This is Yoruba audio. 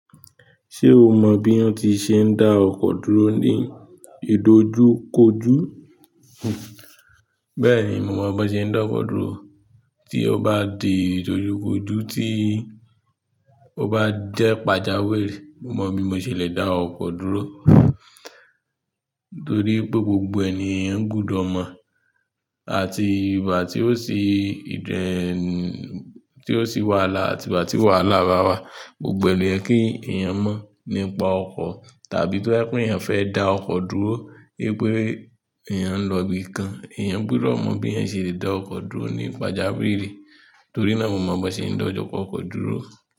Ṣé o mọ bí wọ́n ti ṣe ń da ọkọ̀ dúró ní ìdojúkojú? Bẹ́ẹ̀ni, mo mọ bọ́n ṣe ń dá ọkọ̀ dúró. Tí ó bá di ìdojúkojú, tí ó bá jẹ́ pàjáwìrì, mo mọ̀ bí mo ṣe le dá ọkọ̀ dúró. Torí pé gbogbo ẹ̀ ni eyan gbudo mọ àti ìgba ti o si tí ó sì wàhálà àti ìgbà tí wàhálà ba wa, gbogbo ẹ̀ lo ye kí ẹ̀yàn mọ̀ nípa ọkọ̀. Tàbí tó bá je pẹ́ ẹ̀yàn fẹ́ dá ọkọ̀ dúró, i pé ẹ̀yàn ń lọ ibìkan, ẹ̀yàn gbúdọ̀ mọ bí ẹ́yan ṣe le dá ọkọ̀ dúró ní pàjáwìrì. Torí náà mo mọ bí wọ́n ṣe ń dá ọkọ̀ dúró.